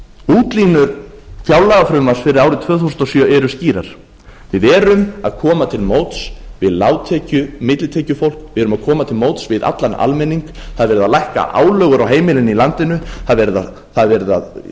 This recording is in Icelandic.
útlínur fjárlagafrumvarps fyrir árið tvö þúsund og sjö eru því skýrar við erum að koma til móts við lágtekju millitekjufólk við erum að koma til móts við allan almenning það er verið að lækka álögur á heimilin í landinu það er verið að